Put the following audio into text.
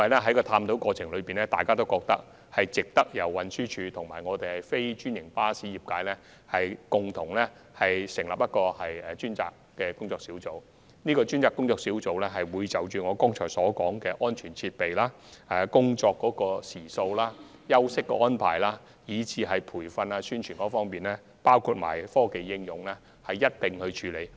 在探討過程中，大家皆認為應由運輸署及非專營巴士業界共同成立專責工作小組，而這個工作小組將會探討我剛才提及的安全設備、工作時數、休息安排、培訓及宣傳，以及科技應用等。